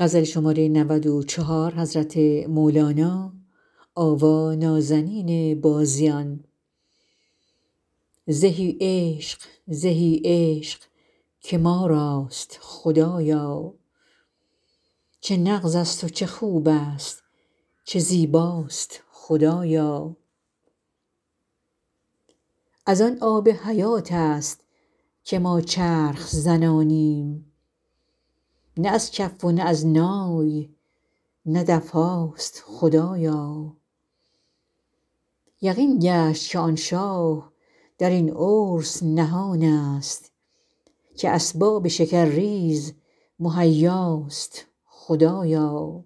زهی عشق زهی عشق که ما راست خدایا چه نغزست و چه خوبست و چه زیباست خدایا از آن آب حیاتست که ما چرخ زنانیم نه از کف و نه از نای نه دف هاست خدایا یقین گشت که آن شاه در این عرس نهانست که اسباب شکرریز مهیاست خدایا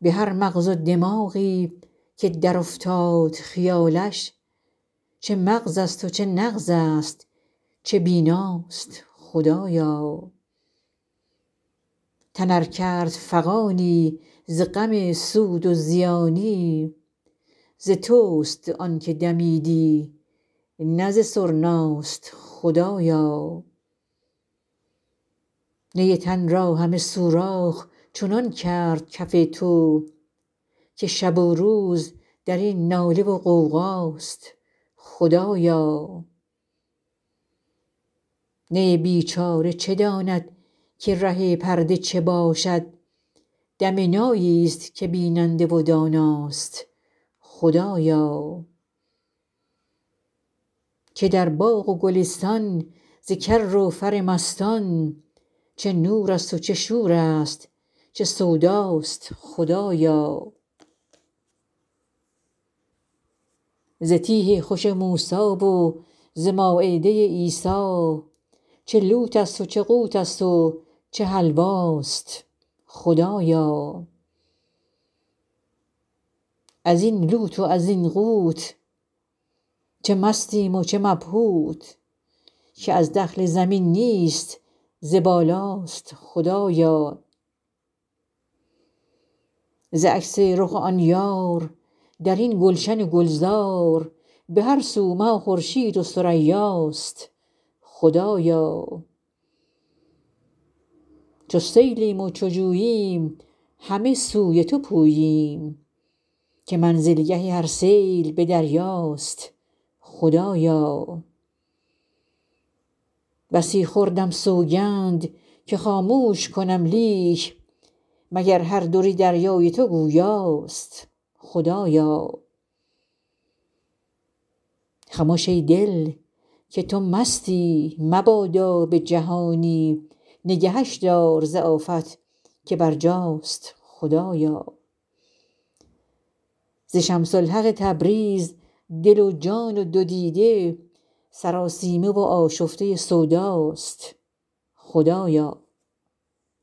به هر مغز و دماغی که درافتاد خیالش چه مغزست و چه نغزست چه بیناست خدایا تن ار کرد فغانی ز غم سود و زیانی ز تست آنک دمیدن نه ز سرناست خدایا نی تن را همه سوراخ چنان کرد کف تو که شب و روز در این ناله و غوغاست خدایا نی بیچاره چه داند که ره پرده چه باشد دم ناییست که بیننده و داناست خدایا که در باغ و گلستان ز کر و فر مستان چه نورست و چه شورست چه سوداست خدایا ز تیه خوش موسی و ز مایده عیسی چه لوتست و چه قوتست و چه حلواست خدایا از این لوت و زین قوت چه مستیم و چه مبهوت که از دخل زمین نیست ز بالاست خدایا ز عکس رخ آن یار در این گلشن و گلزار به هر سو مه و خورشید و ثریاست خدایا چو سیلیم و چو جوییم همه سوی تو پوییم که منزلگه هر سیل به دریاست خدایا بسی خوردم سوگند که خاموش کنم لیک مگر هر در دریای تو گویاست خدایا خمش ای دل که تو مستی مبادا به جهانی نگهش دار ز آفت که برجاست خدایا ز شمس الحق تبریز دل و جان و دو دیده سراسیمه و آشفته سوداست خدایا